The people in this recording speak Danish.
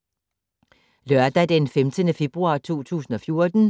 Lørdag d. 15. februar 2014